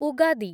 Ugadi